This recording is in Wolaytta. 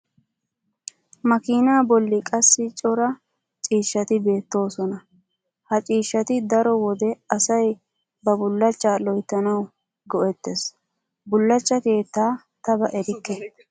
makiinaa bolli qassi cora ciishshati beettoosona. ha ciishshati daro wode asay ba bullachcha loyttanawu go''etees. bullachcha keettaa ta ba erikke.